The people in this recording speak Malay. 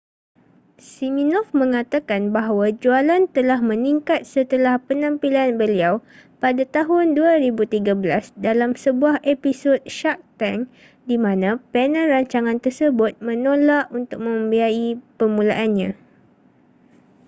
siminoff mengatakan bahawa jualan telah meningkat setelah penampilan beliau pada tahun 2013 dalam sebuah episod shark tank di mana panel rancangan tersebut menolak untuk membiayai permulaannya